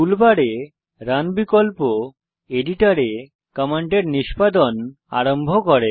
টুল বারে রান বিকল্প এডিটরে কমান্ডের নিষ্পাদন আরম্ভ করে